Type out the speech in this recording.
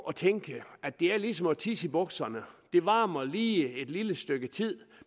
at tænke at det er ligesom at tisse i bukserne det varmer lige et lille stykke tid